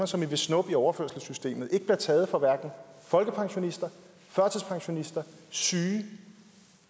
som i vil snuppe i overførselssystemet ikke bliver taget fra hverken folkepensionister førtidspensionister syge